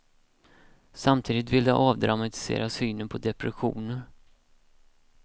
Samtidigt vill de avdramatisera synen på depressioner.